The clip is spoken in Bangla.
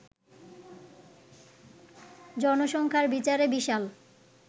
জনসংখ্যার বিচারে বিশাল